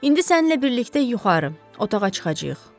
İndi səninlə birlikdə yuxarı otağa çıxacağıq.